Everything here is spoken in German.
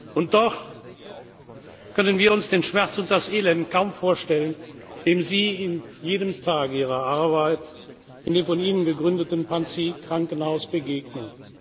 Und doch können wir uns den Schmerz und das Elend kaum vorstellen, dem Sie an jedem Tag Ihrer Arbeit in dem von Ihnen gegründeten Panzi Krankenhaus begegnen.